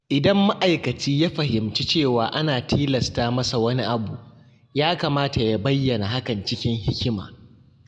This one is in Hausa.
Idan ma’aikaci ya fahimci cewa ana tilasta masa wani abu, ya kamata ya bayyana hakan cikin hikima.